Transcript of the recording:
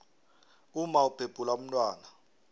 umma ubhebhula umntwana